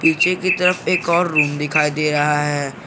पीछे की तरफ एक और रूम दिखाई दे रहा है।